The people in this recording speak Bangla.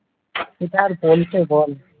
সেটা আর বলতে বল